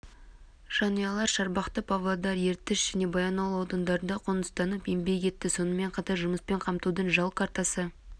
жанұялар шарбақты павлодар ертіс және баянауыл аудандарына қоныстанып еңбек етті сонымен қатар жұмыспен қамтудың жол картасы